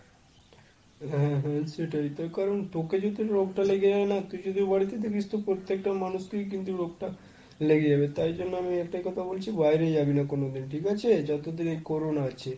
হ্যাঁ হ্যাঁ সেটাই তার কারণ, তোকে যদি রোগটা লেগে যায় না কিছুতেই বাড়িতে দেখিস তো, প্রত্যেকটা মানুষকেই কিন্তু রোগটা লেগে যাবে। তাই জন্য আমি একটাই কথা বলছি বাইরে যাবি না কোনদিন ঠিক আছে? যতদিন এই corona আছে।